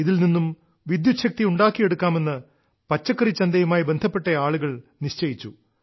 ഇതിൽ നിന്ന് വിദ്യുച്ഛക്തി ഉണ്ടാക്കിയെടുക്കുമെന്ന് പച്ചക്കറിച്ചന്തയുമായി ബന്ധപ്പെട്ട ആളുകൾ നിശ്ചിയിച്ചു